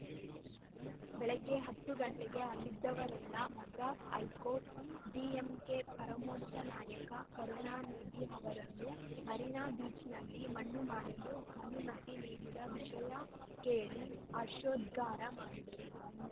ಬೆಳಿಗ್ಗೆ ಹತ್ತು ಗಂಟೆಗೆ ಅಲ್ಲಿದ್ದವರೆಲ್ಲ ಮದ್ರಾಸ್‌ ಹೈಕೋರ್ಟ್‌ ಡಿಎಂಕೆ ಪರಮೋಚ್ಚ ನಾಯಕ ಕರುಣಾನಿಧಿ ಅವರನ್ನು ಮರೀನಾ ಬೀಚ್‌ನಲ್ಲಿ ಮಣ್ಣುಮಾಡಲು ಅನುಮತಿ ನೀಡಿದ ವಿಷಯ ಕೇಳಿ ಹರ್ಷೋದ್ಗಾರ ಮಾಡಿದರು